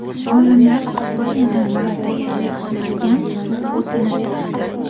Olimlar Ispaniyadan Marsda yashay oladigan suv o‘tini topdi.